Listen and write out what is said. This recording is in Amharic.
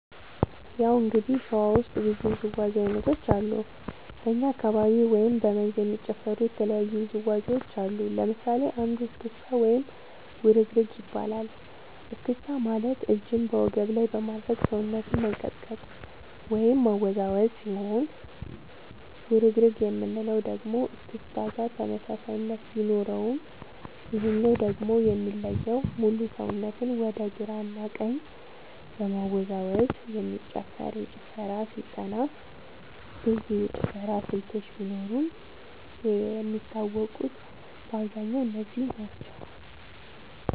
ያው እንግዲህ ሸዋ ውስጥ ብዙ ውዝዋዜ ዐይነቶች አሉ በኛ አካባቢ ወይም በ መንዝ የሚጨፈሩ የተለያዩ ውዝዋዜዎች አሉ ለምሳሌ አንዱ እስክታ ወይም ውርግርግ ይባላል እስክስታ ማለት እጅን በወገብ ላይ በማድረግ ሰውነትን መንቀጥቀጥ ወይም ማወዛወዝ ሲሆን ውርግርግ የምንለው ደግሞ እስክስታ ጋር ተመሳሳይነት ቢኖረውም ይሄኛው ደግሞ የሚለየው ሙሉ ሰውነትን ወደ ግራ እና ወደ ቀኝ በመወዛወዝ የሚጨፈር የጭፈራ ስልጠና ብዙ የጭፈራ ስልቶች ቢኖርም የሚታወቁት በአብዛኛው እነዚህ ናቸው።